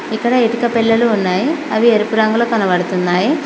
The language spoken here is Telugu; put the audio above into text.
ఇక్కడ ఇటుక పెల్లలు ఉన్నాయి అవి ఎరుపు రంగులో కనబడుతున్నాయ్.